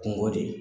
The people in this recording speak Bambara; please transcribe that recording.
Kungo de ye